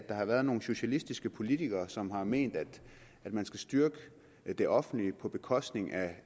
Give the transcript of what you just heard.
har været nogle socialistiske politikere som har ment at man skal styrke det offentlige på bekostning af